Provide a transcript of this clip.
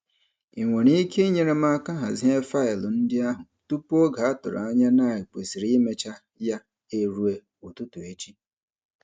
Ị nwere ike inyere m aka hazie faịlụ ndị ahụ tupu oge a tụrụ anya na e kwesịrị imecha ya eruo ụtụtụ echi?